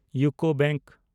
UCO bank